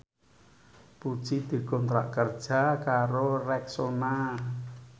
Puji dikontrak kerja karo Rexona